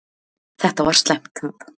Þetta var slæmt tap.